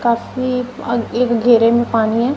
काफी एक घेरे में पानी है।